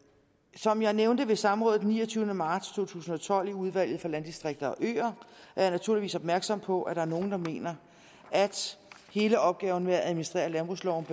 som jeg nævnte ved samrådet den niogtyvende marts to tusind og tolv i udvalget for landdistrikter og øer er jeg naturligvis opmærksom på at der er nogle der mener at hele opgaven med at administrere landbrugsloven